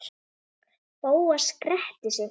Bóas gretti sig.